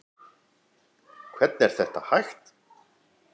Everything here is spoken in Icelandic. Hvernig er þetta hægt?